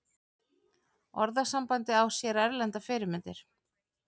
Orðasambandið á sér erlendar fyrirmyndir.